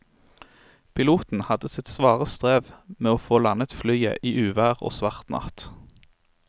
Piloten hadde sitt svare strev med å få landet flyet i uvær og svart natt.